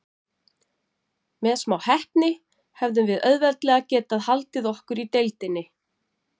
Með smá heppni hefðum við auðveldlega getað haldið okkur í deildinni.